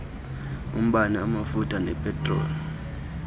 umbane amafutha nepetroli